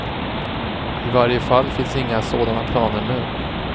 I varje fall finns inga sådana planer nu.